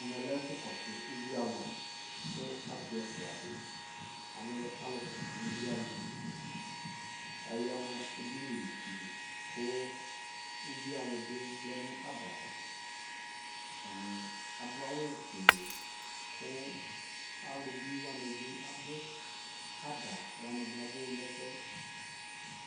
ɛmɛ lɛ ɛƒʋ kɔsʋ ʋbʋi alʋ kʋ asii ɛƒʋa di alɛ alʋ kɔsʋ ʋbʋi alʋ, ayanʋ ɛdini dili kʋ ʋbʋi alʋ bi vlɛnʋ adava, atani adʋ awʋ ƒʋɛlɛ kʋ alʋ bʋi wani bi abʋ, ada wani bi abʋ nʋ ɛƒʋɛ